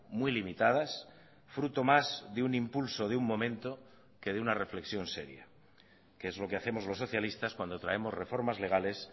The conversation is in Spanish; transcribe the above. muy limitadas fruto más de un impulso de un momento que de una reflexión seria que es lo que hacemos los socialistas cuando traemos reformas legales